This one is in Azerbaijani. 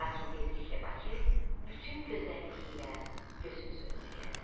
Lakin tezliklə Bakı bütün gözəlliyi ilə gözümüz önünə gəldi.